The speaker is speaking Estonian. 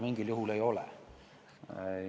Mingil juhul ta seda ei ole.